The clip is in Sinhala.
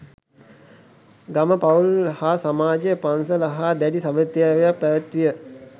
ගම, පවුල් හා සමාජය පන්සල හා දැඬි සැබැඳියාවක් පැවැත්විය.